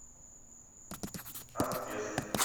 асбест